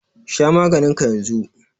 Sha maganin ka yanzu.